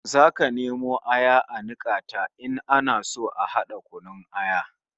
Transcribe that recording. Zaka nemo aya a nika ta in ana so a hada kunun aya